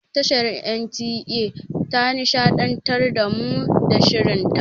Tashar NTA ta nishaɗantar da mu da shirin ta.